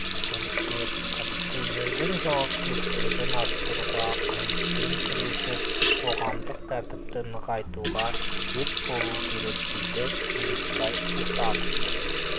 көліктер полицейлердің жауапкершілігін арттыруға қылмыспен күресіп қоғамдық тртіпті нығайтуға сеп болу керек дейді жеңісбай сұлтанов